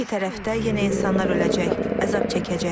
Hər iki tərəfdə yenə insanlar öləcək, əzab çəkəcək.